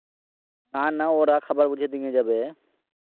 নানা ওরা খাবার বলছে ডিঙ্গে যাবে